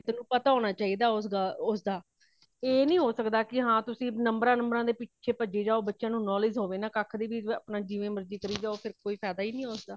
ਤੈਨੂੰ ਪਤਾ ਹੋਣਾ ਚਾਹੀਦਾ ਉਸ ਦਾ ,ਇਹ ਨਹੀਂ ਹੋ ਸੱਕਦਾ ਕੀ ਹਾ ਤੁਸੀਂ ਨੰਬਰਾਂ ,ਨੁਮਬਰਾ ਦੇ ਪਿੱਛੇ ਪਜਹਿ ਜਾਓ ਓਰ ਬੱਚਿਆਂ ਨੂੰ knowledge ਹੋਵੇ ਨਾ ਕੱਖ ਵੀ ਹੋਰ ਜਿਵੇ ਮਰਜੀ ਚਲੇ ਜਾਓ ਫੇਰ ਕੋਈ ਫਾਇਦਾ ਹੈ ਨਹੀਂ ਉਸ ਦਾ